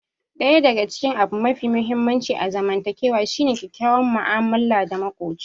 Ɗaya daga cikin abu mafi muhimmanci a zamantakewa shine kyakkyawar mu'amala da makoci.